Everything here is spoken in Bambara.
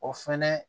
O fɛnɛ